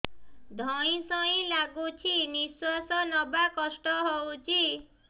ଧଇଁ ସଇଁ ଲାଗୁଛି ନିଃଶ୍ୱାସ ନବା କଷ୍ଟ ହଉଚି